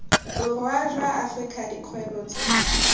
borwa jwa afrika dikgwebo tse